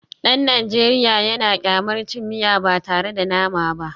Dan Najeriya yana kyamar cin miya ba tare da nama ba